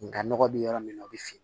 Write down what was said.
Nga nɔgɔ bɛ yɔrɔ min na o bi fin